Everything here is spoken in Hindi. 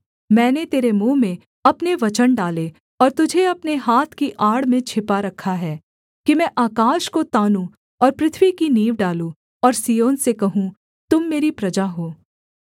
मैंने तेरे मुँह में अपने वचन डाले और तुझे अपने हाथ की आड़ में छिपा रखा है कि मैं आकाश को तानूँ और पृथ्वी की नींव डालूँ और सिय्योन से कहूँ तुम मेरी प्रजा हो